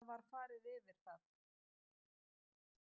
Það var farið yfir það